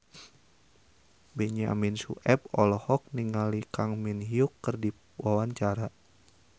Benyamin Sueb olohok ningali Kang Min Hyuk keur diwawancara